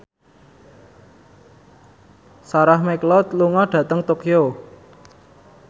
Sarah McLeod lunga dhateng Tokyo